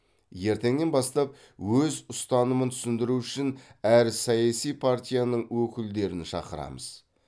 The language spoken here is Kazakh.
ертеңнен бастап өз ұстанымын түсіндіру үшін әр саяси партияның өкілдерін шақырамыз